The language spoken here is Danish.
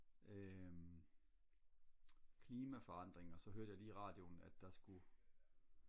øh klimaforandringer så hørte jeg lige i radioen at der skulle